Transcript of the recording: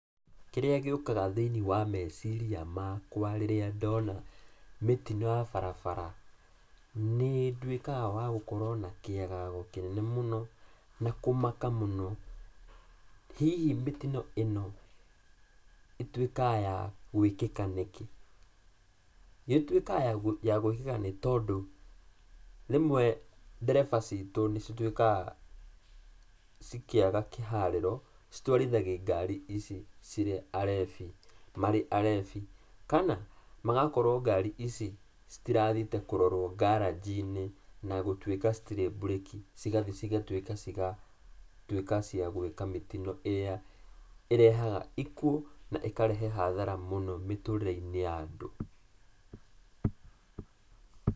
Kĩrĩa gĩũkaga thĩiniĩ wa meciria makwa rĩrĩa ndona mĩtino ya barabara, nĩ nduĩkaga wa gũkorwo na kĩagago kĩnene mũno, na kũmaka mũno. Hihi mĩtino ĩno ĩtuĩkaga yagũĩkĩka nĩkĩ? Ĩtuĩkaga yagũĩkĩka nĩ tondũ rĩmwe ndereba citũ nĩ cituĩkaga cikĩaga kĩharĩro, citwarithagia ngari marĩ arebi, kana magakorwo ngari ici citirathiĩte kũrorwo ngaranji-inĩ na gũkorwo citirĩ mburĩki, cigathiĩ cigatuĩka ciagũĩka mĩtino ĩrĩa ĩrehaga ikuũ, na ĩkarehe hathara nene mĩtũrĩre-inĩ ya andũ.